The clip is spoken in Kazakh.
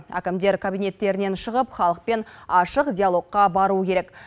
әкімдер кабинеттерінен шығып халықпен ашық диалогқа баруы керек